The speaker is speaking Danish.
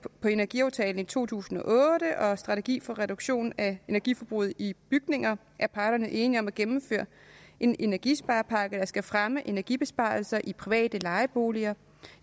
på energiaftalen i to tusind og otte og strategi for reduktion af energiforbruget i bygninger er parterne enige om at gennemføre en energisparepakke der skal fremme energibesparelser i private lejeboliger